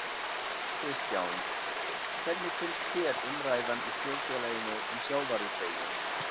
Kristján: Hvernig finnst þér umræðan í þjóðfélaginu um sjávarútveginn?